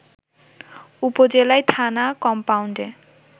উপজেলায় থানা কমপাউন্ডে